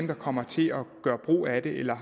der kommer til at gøre brug af det eller